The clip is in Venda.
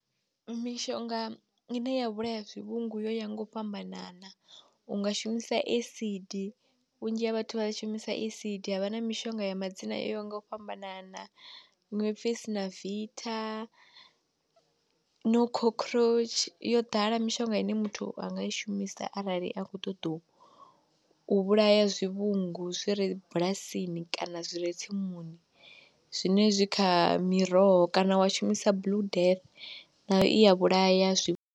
Mishonga ine ya vhulaya zwivhungu yo ya ngo fhambanana, u nga shumisa acid, vhunzhi ha vhathu vha shumisa acid, havha na mishonga ya madzina o yaho nga u fhambanana, iṅwe ipfhi Synvita, no cockroach, yo ḓala mishonga ine muthu anga i shumisa arali a khou ṱoḓou u vhulaya zwivhungu zwi re bulasini kana zwi re tsimuni zwine zwi kha miroho, kana wa shumisa Blue Death nayo i ya vhulaya zwi.